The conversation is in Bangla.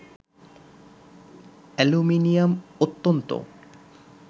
অ্যালুমিনিয়াম অত্যন্ত